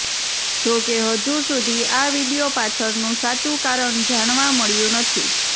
જોકે હજુ સુધી આ વીડિયો પાછળનું સાચું કારણ જાણવા મળ્યું નથી